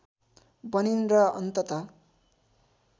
बनिन् र अन्तत